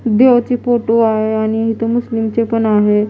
देवाचे फोटो आहे आणि इथे मुस्लीम चे पण आहे.